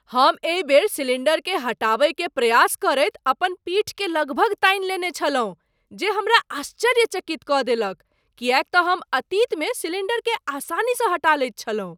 हम एहि बेर सिलिण्डरकेँ हटाबय के प्रयास करैत अपन पीठ के लगभग तानि लेने छलहुँ जे हमरा आश्चर्यचकित कऽ देलक किएक तँ हम अतीतमे सिलिण्डरकेँ आसानीसँ हटा लैत छलहुँ।